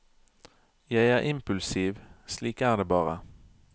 Jeg er impulsiv, slik er det bare.